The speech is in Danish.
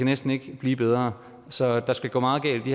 næsten ikke blive bedre så der skal gå meget galt i